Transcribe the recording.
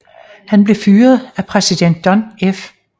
Han blev fyret af præsident John F